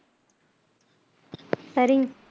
சரி